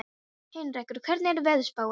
Heinrekur, hvernig er veðurspáin?